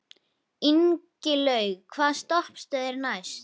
Ingilaug, hvaða stoppistöð er næst mér?